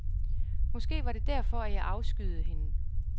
Måske var det derfor, at jeg afskyede hende.